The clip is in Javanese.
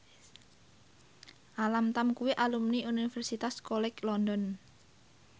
Alam Tam kuwi alumni Universitas College London